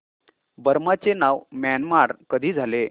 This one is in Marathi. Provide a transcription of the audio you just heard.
बर्मा चे नाव म्यानमार कधी झाले